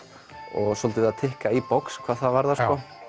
og svolítið verið að tikka í box hvað það varðar